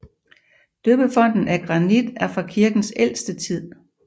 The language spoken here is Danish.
Døbefonten af granit er fra kirkens ældste tid